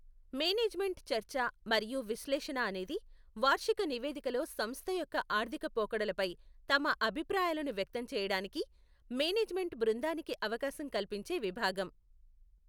Management చర్చ మరియు విశ్లేషణ అనేది వార్షిక నివేదికలో సంస్థ యొక్క ఆర్థిక పోకడలపై తమ అభిప్రాయాలను వ్యక్తం చేయడానికి మేనేజ్మెంట్ బృందానికి అవకాశం కల్పించే విభాగం.